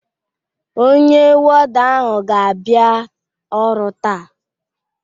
Ọnye wọda ahụ ga abia ọru taa